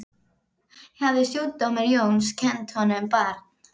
Hafði stjúpdóttir Jóns kennt honum barn.